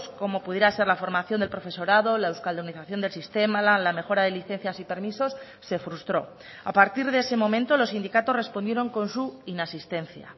como pudiera ser la formación del profesorado la euskaldunización del sistema la mejora de licencias y permisos se frustró a partir de ese momento los sindicatos respondieron con su inasistencia